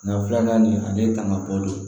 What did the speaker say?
Nga filanan nin ale tanga bɔlen